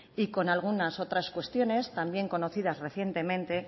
y con algunas otras cuestiones también conocidas recientemente